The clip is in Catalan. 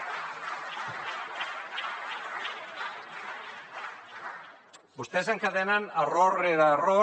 vostès encadenen error rere error